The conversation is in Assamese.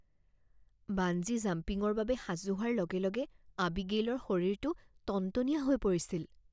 বাঞ্জি জাম্পিংৰ বাবে সাজু হোৱাৰ লগে লগে আবিগেইলৰ শৰীৰটো টনটনীয়া হৈ পৰিছিল